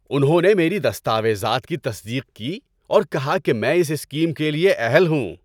انہوں نے میری دستاویزات کی تصدیق کی اور کہا کہ میں اس اسکیم کے لیے اہل ہوں۔